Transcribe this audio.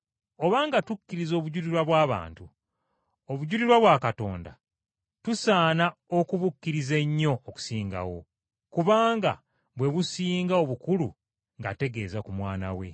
Obanga tukkiriza obujulirwa bw’abantu, obujulirwa bwa Katonda tusaana okubukkiriza ennyo n’okusingawo, kubanga bwe businga obukulu ng’ategeeza ku Mwana we.